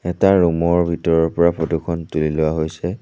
এটা ৰুমৰ ভিতৰৰ পৰা ফটোখন তোলি লোৱা হৈছে।